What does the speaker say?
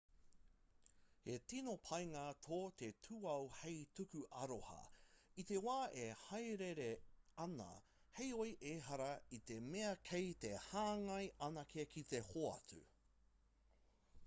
he tino painga tō te tūao hei tuku aroha i te wā e hāereere ana heoi ehara i te mea kei te hāngai anake ki te hoatu